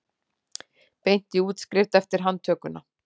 Beint í útskrift eftir handtökuna